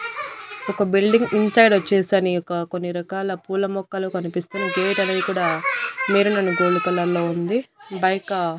ఒక building inside వచ్చేసానీ ఒక కొన్ని రకాల పూల మొక్కలు కనిపిస్తునాయ్ గేట్ అనేది కూడా మెరూన్ అండ్ గోల్డ్ కలర్ లో ఉంది. బైక --